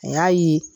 A y'a ye